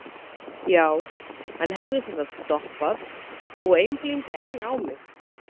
já, hann hefði sem sagt stoppað og- einblíndi enn á mig.